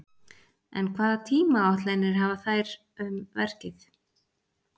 En hvaða tímaáætlanir hafa þeir um verkið?